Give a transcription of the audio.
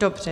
Dobře.